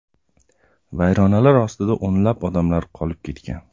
Vayronalar ostida o‘nlab odamlar qolib ketgan.